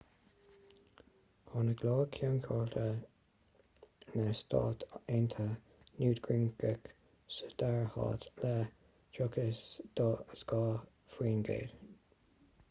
tháinig iar-cheann comhairle na stát aontaithe newt gingrich sa dara háit le 32 faoin gcéad